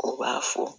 U b'a fɔ